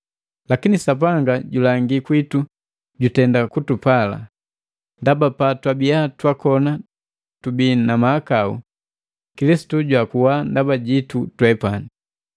Lakini Sapanga julangi kwitu jutenda kutupala, ndaba patwabia twakona tubi na mahakau, Kilisitu jwakuwa ndaba jitu twepani.